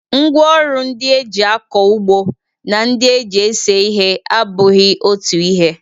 Ngwaọrụ ndị e ji akọ ugbo na ndị e ji ese ihe abụghị otu ihe